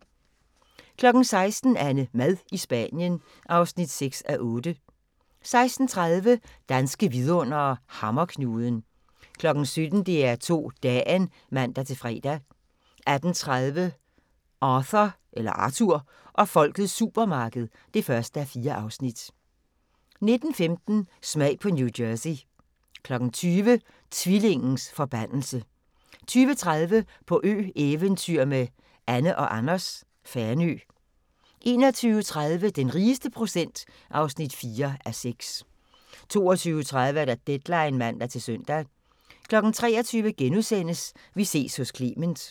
16:00: AnneMad i Spanien (6:8) 16:30: Danske vidundere: Hammerknuden 17:00: DR2 Dagen (man-fre) 18:30: Arthur og folkets supermarked (1:4) 19:15: Smag på New Jersey 20:00: Tvillingens forbandelse 20:30: På ø-eventyr med Anne & Anders - Fanø 21:30: Den rigeste procent (4:6) 22:30: Deadline (man-søn) 23:00: Vi ses hos Clement *